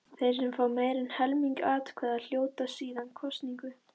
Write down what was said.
Þeir sem fá meira en helming atkvæða hljóta síðan kosningu.